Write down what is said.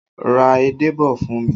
Ra edé bọ̀ fún mi!